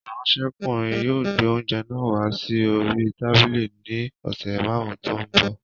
Ìránṣẹ́kùnrin yóò gbé oúnjẹ náà wá sí orí tábìlì ní ìṣẹ́jú márùn-ún tó ń bọ̀